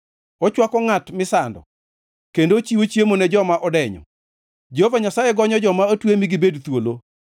Ochwako ngʼat misando kendo ochiwo chiemo ne joma odenyo. Jehova Nyasaye gonyo joma otwe mi gibed thuolo,